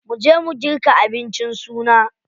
Mu je mu girka abincin suna.